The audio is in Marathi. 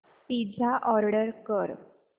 पिझ्झा ऑर्डर कर